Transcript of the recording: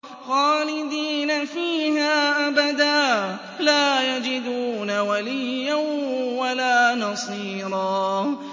خَالِدِينَ فِيهَا أَبَدًا ۖ لَّا يَجِدُونَ وَلِيًّا وَلَا نَصِيرًا